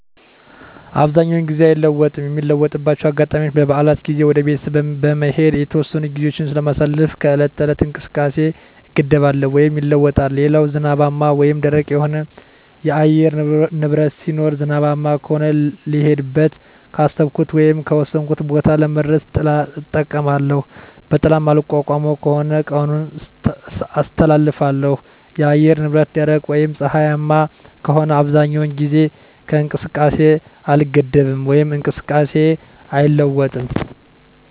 አብዛኛውን ጊዜ አይለወጥም ሚለወጥባቸው አጋጣሚዎች በበዓላት ጊዜ ወደ ቤተሰብ በመሄድ የተወሰኑ ግዜዎች ስለማሳልፍ ከዕለት ተዕለት እንቅስቃሴየ እገደባለው ወይም ይለወጣል ሌላው ዝናባማ ወይም ደረቅ የሆነ የአየር ንብረት ሲኖር ዝናባማ ከሆነ ልሄድበት ካሰብኩት ወይም ከወሰንኩት ቦታ ለመድረስ ጥላ እጠቀማለሁ በጥላ ማልቋቋመው ከሆነ ቀኑን አስተላልፋለሁ የአየር ንብረቱ ደረቅ ወይም ፀሀያማ ከሆነ አብዛኛውን ጊዜ ከእንቅስቃሴ አልገደብም ወይም እንቅስቃሴየ አይለዋወጥም